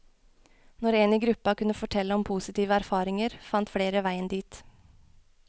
Når en i gruppa kunne fortelle om positive erfaringer, fant flere veien dit.